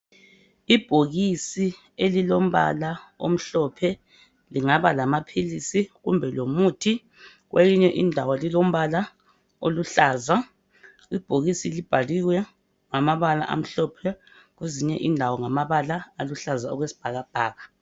Ibhokisi elilombala omhlophe lingaba lamaphilisi kumbe lomuthi kwelinye indawo lilombala oluhlaza ibhokisi libhaliwe ngamabala amhlophe kwezinye indawo ngamabala aluhlaza okwesibhakabhaka